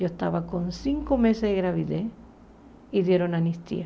Eu estava com cinco meses de gravidez e deram anistia.